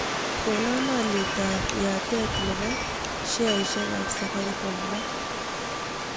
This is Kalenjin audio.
Konan olyetab yatet ne po sheaisiekap Safaricom raa